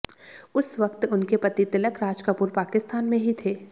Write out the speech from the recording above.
उस वक्त उनके पति तिलक राज कपूर पाकिस्तान में ही थे